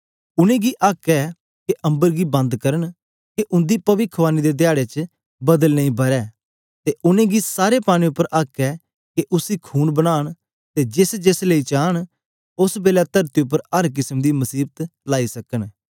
उनेंगी आक्क ऐ के अम्बर गी बंद करन के उंदी पविखवाणी दे धयारे च बदल नेई बरसे ते उनेंगी सारे पानी उपर आक्क ऐ के उसी खून बनान ते जेस जेस ले चान ओस बेलै तरती उपर अर केसम दी मसीबत लाई सकन